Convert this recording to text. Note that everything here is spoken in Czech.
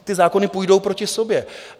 Ty zákony půjdou proti sobě.